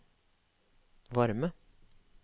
varme